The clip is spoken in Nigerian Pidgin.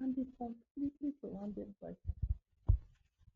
and dey completely surrounded by south africa